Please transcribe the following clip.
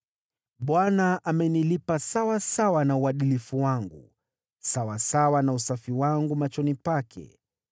Bwana amenilipa sawasawa na uadilifu wangu, sawasawa na usafi wangu machoni pake.